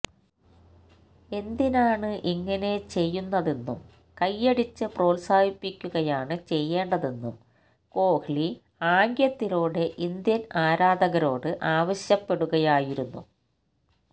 എന്തിനാണ് ഇങ്ങനെ ചെയ്യുന്നതെന്നും കൈയടിച്ച് പ്രോത്സാഹിപ്പിക്കുകയാണ് ചെയ്യേണ്ടതെന്നും കോഹ്ലി ആംഗ്യത്തിലൂടെ ഇന്ത്യന് ആരാധകരോട് ആവശ്യപ്പെടുകയായിരുന്നു